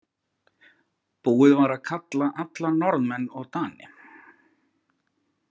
Búið var að kalla alla Norðmenn og Dani.